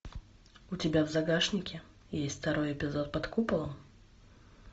у тебя в загашнике есть второй эпизод под куполом